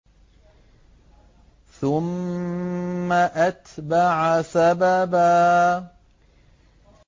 ثُمَّ أَتْبَعَ سَبَبًا